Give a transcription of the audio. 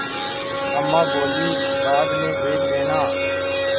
अम्मा बोलीं बाद में देख लेना